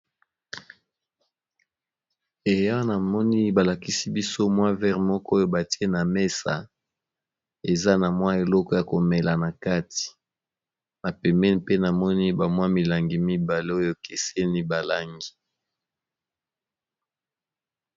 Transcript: Eya namoni balakisi biso mwa vere moko oyo batie na mesa, eza na mwa eloko ya komela na kati, na pembeni pe namoni ba mwa milangi mibale oyo ekeseni ba langi.